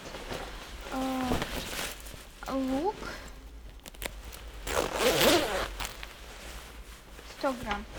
лук сто грамм